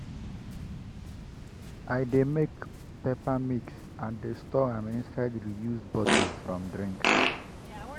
i dey make paper mix and dey store am inside reused bottles from drinks.